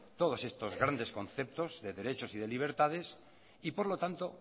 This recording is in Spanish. todos estos grandes conceptos de derechos y de libertades y por lo tanto